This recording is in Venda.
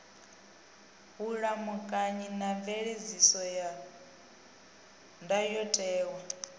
vhulamukanyi na mveledziso ya ndayotewa